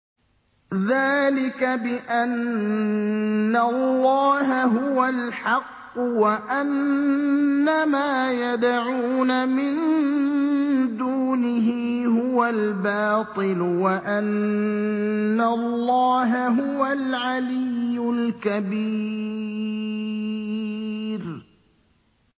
ذَٰلِكَ بِأَنَّ اللَّهَ هُوَ الْحَقُّ وَأَنَّ مَا يَدْعُونَ مِن دُونِهِ هُوَ الْبَاطِلُ وَأَنَّ اللَّهَ هُوَ الْعَلِيُّ الْكَبِيرُ